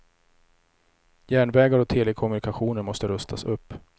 Järnvägar och telekommunikationer måste rustas upp.